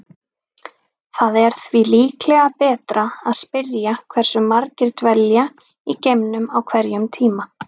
Það er því líklega betra að spyrja hversu margir dvelja í geimnum á hverjum tíma.